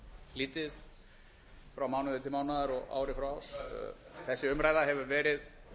lítið frá mánuði til mánaðar og ári frá árs þessi umræða hefur verið